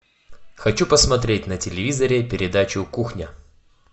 хочу посмотреть на телевизоре передачу кухня